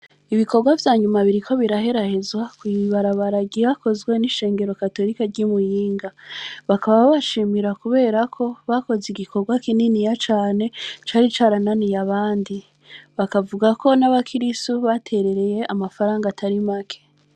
Ibikorwa vya nyuma biriko biraherahezwa kw’ibarabara ryakozwe n’ishengero katorike ry’i Muyinga. Bakaba babashimira kubera ko bakoze igikorwa kininiya cane cari carananiye abandi; bakavuga ko n’abakirisu baterereye amafaranga atari make.